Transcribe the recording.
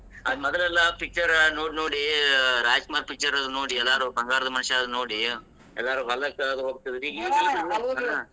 ಆದ್ ಮೊದಲೆಲ್ಲಾ picture ನೋಡ್ ನೋಡಿ ರಾಜಕುಮಾರ್ picture ನೋಡಿ ಎಲ್ಲರೂ ಬಂಗಾರದ ಮನುಷ್ಯದು ನೋಡಿ ಎಲ್ಲರೂ ಹೊಲಕ್ಕ ಅದು ಹೋಗ್ತಿದ್ರು ಈಗೇನ್ .